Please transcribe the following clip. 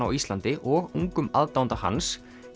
á Íslandi og ungum aðdáanda hans